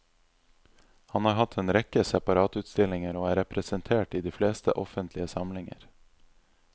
Han har hatt en rekke separatutstillinger, og er representert i de fleste offentlige samlinger.